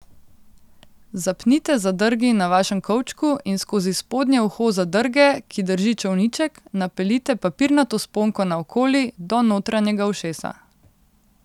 Zapnite zadrgi na vašem kovčku in skozi spodnje uho zadrge, ki drži čolniček, napeljite papirnato sponko naokoli, do notranjega ušesa.